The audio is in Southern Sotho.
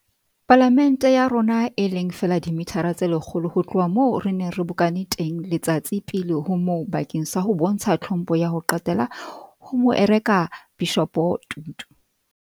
Pala mente ya rona, e leng feela dimithara tse lekgolo ho tloha moo re neng re bokane teng letsatsi pele ho moo bakeng sa ho bontsha tlhompho ya ho qetela ho Moarekabishopo Tutu.